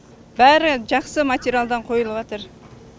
бәрі жақсы материалдан қойылыватыр